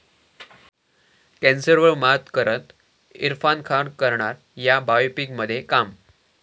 कॅन्सरवर मात करत इरफान खान करणार 'या' बायोपिकमध्ये काम